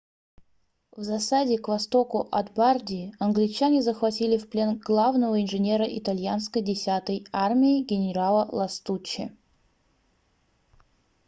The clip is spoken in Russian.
в засаде к востоку от бардии англичане захватили в плен главного инженера итальянской 10-й армии генерала ластуччи